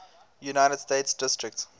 united states district